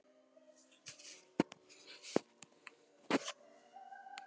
Kristján Már Unnarson: Við hvernig aðstæður býst þú við að þurfa að vinna?